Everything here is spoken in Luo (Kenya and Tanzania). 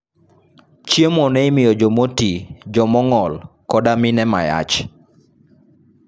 Chiemo ne imiyo jo moti, jo mong'ol, koda mine mayach.